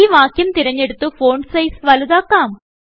ഈ വാക്യം തിരഞ്ഞെടുത്ത് ഫോണ്ട് സൈസ് വലുതാക്കാം